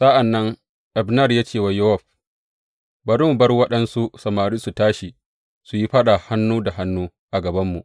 Sa’an nan Abner ya ce wa Yowab, Bari mu bar waɗansu samari su tashi su yi faɗa hannu da hannu a gabanmu.